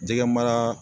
Jɛgɛ mara